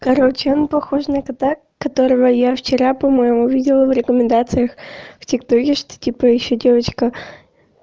короче он похож на кота которого я вчера по-моему видела в рекомендациях в тик токе что типа ещё девочка